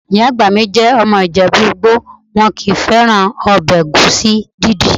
Ìyá àgbà mi jẹ́ ọmọ ìjẹ̀bú-igbo, wọn kò fẹ́ràn ọbẹ̀ ẹ̀gúsí dídì.